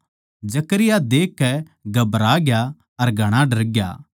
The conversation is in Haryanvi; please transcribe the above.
जकरयाह देखकै घबराग्या अर घणा डरग्या